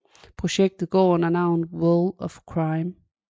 Projektet går under navnet World of Crime